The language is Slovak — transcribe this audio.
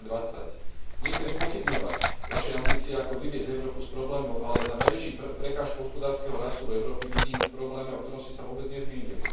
2020. Nechcem spochybňovať Vaše ambície, ako vyviesť Európu z problémov, ale najväčšiu prekážku hospodárskeho rastu v Európe vidím v probléme, o ktorom ste sa vôbec nezmienili.